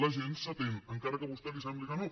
la gent s’atén encara que a vostè li sembli que no